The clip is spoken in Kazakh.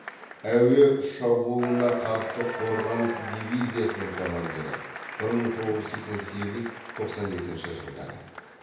әуе шабуылына қарсы қорғаныс дивизиясының командирі бір мың тоғыз жүз сексен сегіз тоқсан екінші жылдары